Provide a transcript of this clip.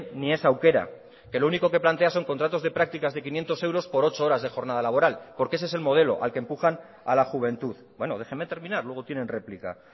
ni es aukera que lo único que plantea son contratos de prácticas de quinientos euros por ocho horas de jornada laboral porque ese es el modelo al que empujan a la juventud bueno déjeme terminar luego tienen réplica